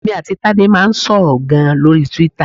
Èmi àti Tádé máa ń sọ̀rọ̀ gan-an lórí Twitter.